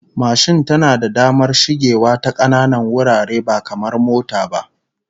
Mashin tana da damar shigewa ta kananan wurare ba kamar mota ba